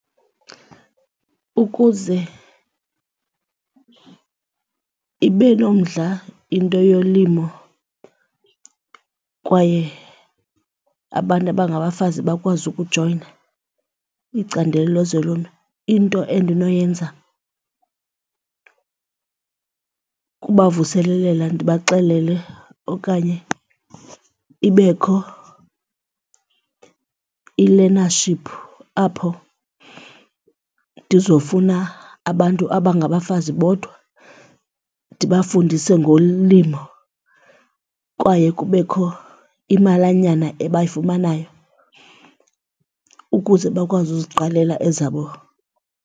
Ukuze ibe nomdla into yolimo kwaye abantu abangabafazi bakwazi ukujoyina icandelo lezolimo into endinoyenza kubavuselelela ndibaxelele okanye ibekho i-learnership apho ndizofuna abantu abangabafazi bodwa ndibafundise ngolimo kwaye kubekho imalanyana ebayifumanayo ukuze bakwazi uziqalela ezabo.